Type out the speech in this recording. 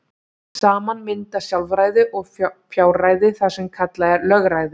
Saman mynda sjálfræði og fjárræði það sem kallað er lögræði.